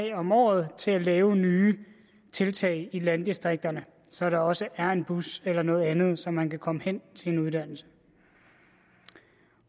om året til at lave nye tiltag i landdistrikterne så der også er en bus eller noget andet så man kan komme hen til en uddannelse